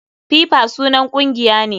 FIFA sunan kungiya ne.